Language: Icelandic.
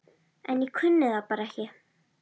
En ég kunni það bara ekki.